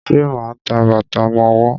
Ṣe ma ń ta bàtà ọmọwọ́?